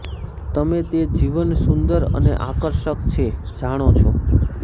તમે તે જીવન સુંદર અને આકર્ષક છે જાણો છો